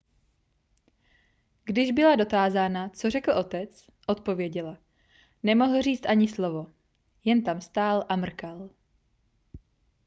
když byla dotázána co řekl otec odpověděla nemohl říct ani slovo jen tam stál a mrkal